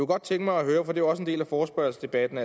godt tænke mig at høre for det også en del af forespørgselsdebatten